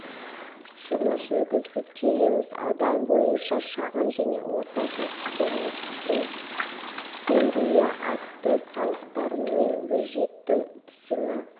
жұмыс жүргізіп келеміз аудан бойынша шағын және орта кәсіпкерліктің деңгейі артты салықтар мен бюджеттің түсімі